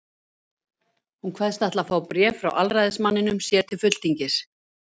Hún kveðst ætla að fá bréf frá aðalræðismanninum sér til fulltingis.